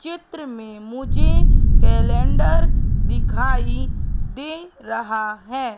चित्र में मुझे कैलेंडर दिखाई दे रहा है।